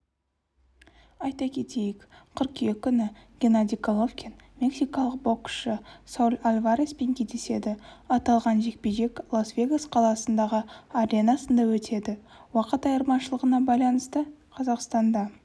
айта кетейік қыркүйек күні геннадий головкин мексикалық боксшы сауль альвареспен кездеседі аталған жекпе-жек лас-вегас қаласындағы аренасында өтеді уақыт айырмашылығына байланысты қазақстанда